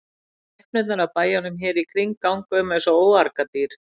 Skepnurnar af bæjunum hér í kring ganga um eins og óargadýr.